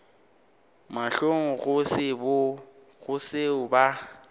mahlong go se seo ba